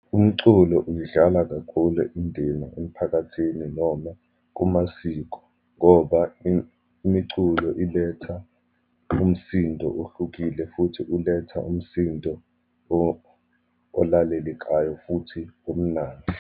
Umculo uyidlala kakhulu indina emphakathini, noma kumasiko ngoba imiculo iletha umsindo ohlukile, futhi uletha umsindo olalelekayo, futhi omnandi.